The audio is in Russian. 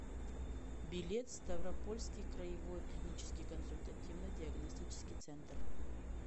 билет ставропольский краевой клинический консультативно диагностический центр